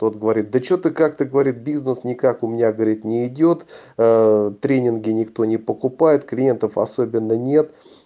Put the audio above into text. тот говорит да что-то как то говорит бизнес никак у меня говорит не идёт тренинги никто не покупает клиентов особенно нет